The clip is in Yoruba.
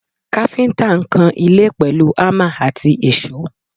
Káfíńtà ń kan ilé pẹ̀lú hámà àti èṣó